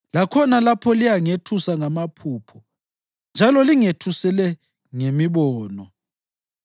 lakhona lapho liyangethusa ngamaphupho njalo lingethusele ngemibono,